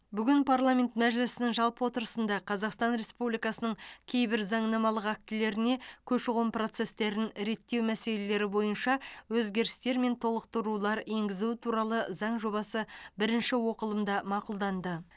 бүгін парламент мәжілісінің жалпы отырысында қазақстан республикасының кейбір заңнамалық актілеріне көші қон процестерін реттеу мәселелері бойынша өзгерістер мен толықтырулар енгізу туралы заң жобасы бірінші оқылымда мақұлданды